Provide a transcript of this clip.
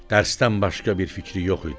Dərsdən başqa bir fikri yox idi.